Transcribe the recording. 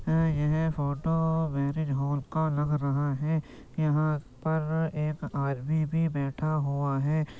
यह photo marriage hall का लग रहा हैं| यहाँ पर एक आदमी भी बैठा हुआ हैं।